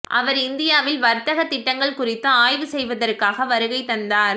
அவர் இந்தியாவில் வர்த்தகத் திட்டங்கள் குறித்து ஆய்வு செய்வதற்காக வருகை தந்தார்